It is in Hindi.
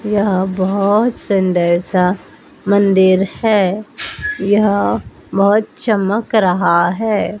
यह बहुत सुंदर सा मंदिर है यह बहुत चमक रहा हैं।